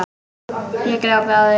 Ég glápi á þau.